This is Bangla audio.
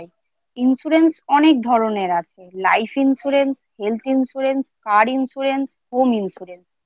insurance অনেক ধরনের আছে। Life insurance , Health insurance , Car insurance , Home insurance , Life insurance সবার করা উচিত।